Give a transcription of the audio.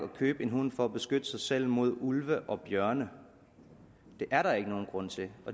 købe en hund for at beskytte sig selv mod ulve og bjørne det er der ikke nogen grund til